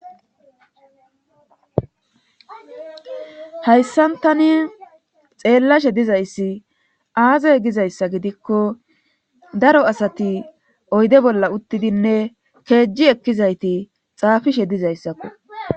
hayssan tani xeellashe dizayssi aaze gizayssa gidikko daro asati oyde bolla uttidinne keejji ekkizayti xaafishe dizayssakko